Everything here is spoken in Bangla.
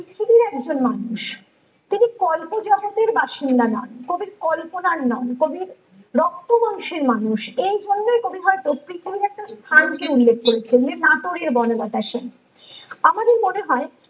সেও একজন মানুষ তিনি কল্প জগতের বাসিন্দা নন ।কবির কল্পনার নন কবির রক্ত মাংসের মানুষ ।এই জন্যই কবি হয় প্রত্যেক কবিতাতে স্থানকে উল্লেখ করেছেন নাটোরে বনলতা সেন । আমাদের মনে হয়